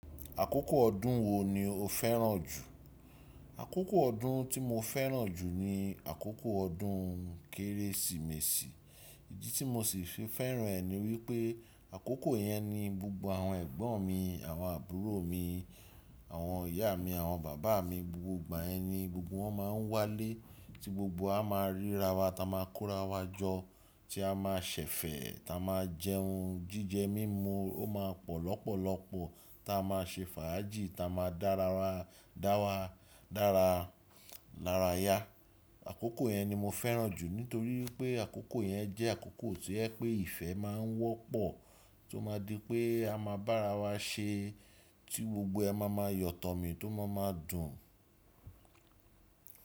Àkókò ọdún wo ni o fẹ́ràn jù? Àkókò ọdún tí mo fẹ́ràn jù ni àkókò ọdún Kérésìmesì, ìdí tí mo sì fi fẹ́ràn ẹ ni wípé àkókò yẹn ni gbogbo àwọn ẹ̀gbọ́n mi, àwọn àbúrò mi, àwọn ìyá mi, àwọn bàbá mi, gbogbo ìgbà ẹni gbogbo wọn máa ń wálé tí gbogbo a máa ríra wa, táa ma kórawọ́ jọ, tí a máa ṣẹ̀fẹ̀, táa máa jẹ ohun jíjẹ mímú, ó ma pọ̀ lọ́pọ̀lọpọ̀, táa máa ṣe fàájì, táa máa dára ra, dára, dára lara ya. Àkókò yẹn ni mo fẹ́ràn jù nítorí pé àkókò yẹn jẹ́ àkókò tí ẹ pé ìfẹ́ máa ń wọ́pọ̀ tí ó máa di pé a máa bára wa ṣe tí gbogbo ẹ máa ma yọ̀tọ̀ mi tó máa ma dùn.